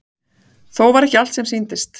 Þó var ekki allt sem sýndist.